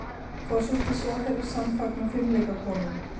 Forsætisráðherra samfagnar fimleikakonum